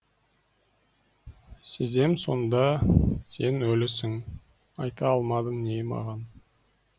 сезем сонда сен өлісің айта алмадың не маған